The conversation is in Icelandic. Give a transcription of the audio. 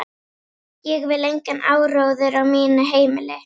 Ég vil engan áróður á mínu heimili.